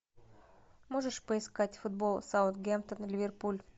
можешь поискать футбол саутгемптон ливерпуль